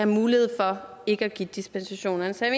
mulighed for ikke at give dispensationer så jeg